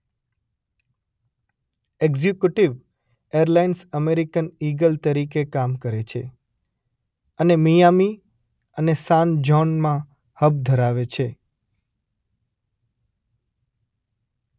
Executive airlines American Eagle તરીકે કામ કરે છે અને મિયામી અને સાન જૌનમાં હબ ધરાવે છે.